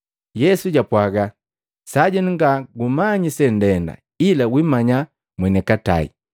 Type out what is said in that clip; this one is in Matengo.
Yesu jwapwaaga, “Sajenu nga gumanyi sendenda, ila wimanya mwenikatai.”